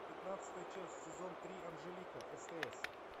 пятнадцатая часть сезон три анжелика стс